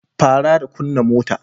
Fara da kunna motar.